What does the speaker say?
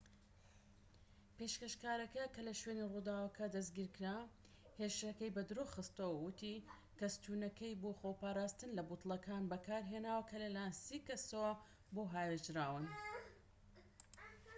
پێشکەشکارەکە کە لە شوێنی ڕوداوەکە دەستگیر کرا هێرشەکەی بەدرۆخستەوە و ووتی کە ستوونەکەی بۆ خۆپاراستن لە بوتڵەکان بەکارهێناوە کە لە لایەن سی کەسەوە بۆ هاوێژراون